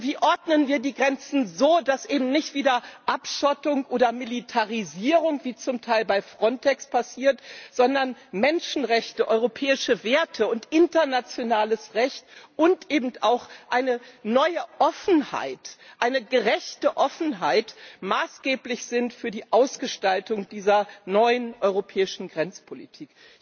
Wie ordnen wir die Grenzen so, dass eben nicht wieder Abschottung oder Militarisierung, wie zum Teil bei Frontex passiert, sondern Menschenrechte, europäische Werte und internationales Recht und eben auch eine neue Offenheit, eine gerechte Offenheit, maßgeblich sind für die Ausgestaltung dieser neuen europäischen Grenzpolitik.